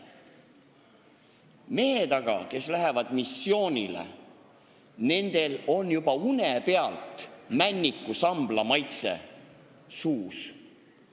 Nendel meestel aga, kes lähevad missioonile, on juba uneski Männiku sambla maitse suus.